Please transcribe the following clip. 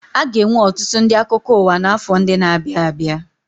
Aga enwe ọtụtụ ndị akụkọ ụwa na afọ ndị na abịa abịa